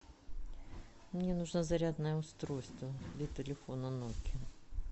мне нужно зарядное устройство для телефона нокиа